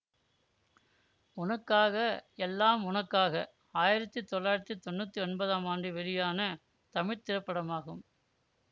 உனக்காக எல்லாம் உனக்காக ஆயிரத்தி தொள்ளாயிரத்தி தொன்னூத்தி ஒன்பதாம் ஆண்டு வெளியான தமிழ் திரைப்படமாகும்